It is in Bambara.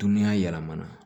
Dunuya yɛlɛmana